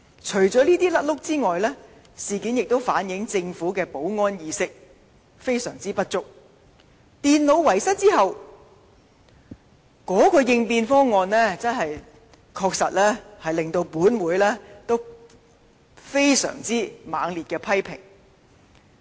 除了這些錯失外，事件亦反映政府的保安意識相當不足，在電腦遺失後的應變方案亦令本會予以相當猛烈的批評。